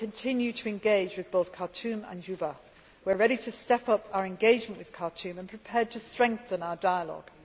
We will continue to engage with both Khartoum and Juba. We are ready to step up our engagement with Khartoum and prepared to strengthen our dialogue.